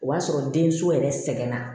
O y'a sɔrɔ den so yɛrɛ sɛgɛnna